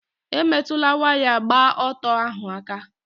Emetụla waya gba ọtọ ahụ aka!